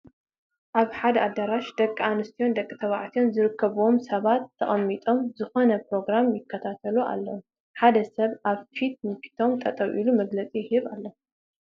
ኣብ ሓደ ኣዳራሽ ደቂ ኣንስትዮን ደቂ ተባዕትዮን ዝርከብዎም ሰባት ተቐሚጦም ዝኾነ ፕሮግራም ይከታተሉ ኣለዉ፡፡ ሓደ ሰብ ኣብ ፊት ንፊቶም ጠጠው ኢሉ መግለፂ ይህብ ኣሎ፡፡